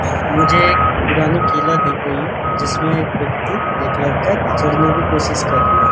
मुझे एक पुरानी किला दिख रही रही है जिसमें एक व्यक्ति एक लड़का चढ़ने की कोशिश कर रही है |